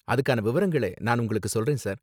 அதுக்கான விவரங்களை நான் உங்களுக்கு சொல்றேன், சார்.